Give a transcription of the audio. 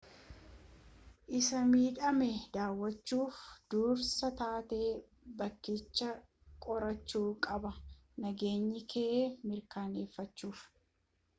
isa midhame daawwachuuf dursaa taatee bakkichaa qorachuu qabda nageenyakee mirkaaneeffachuuf